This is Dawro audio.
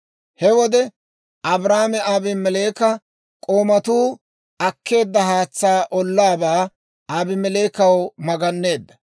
He wode, Abrahaame Abimeleeka k'oomatuu akkeedda haatsaa ollaabaa Abimeleekaw maganneedda.